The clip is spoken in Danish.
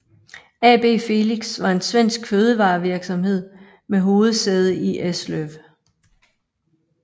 AB Felix var en svensk fødevarevirksomhed med hovedsæde i Eslöv